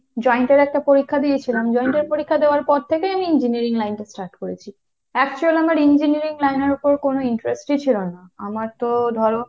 joint এর একটা পরীক্ষা দিয়েছিলাম। joint এর পরীক্ষা দেওয়ার পর থেকেই আমি engineering line টা start করেছি। actual আমার engineering line এর উপর কোন interest ই ছিল না। আমার তো ধরো,